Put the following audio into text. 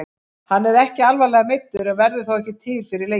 Hann er ekki alvarlega meiddur en verður þó ekki til fyrir leikinn.